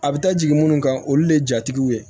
A bɛ taa jigin munnu kan olu de ye jatigiw ye